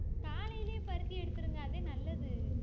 காலையிலயே பருத்தி எடுத்துருங்க அது நல்லது